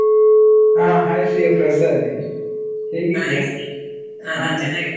ಹ hai ಶಿವಪ್ರಸಾದ್, .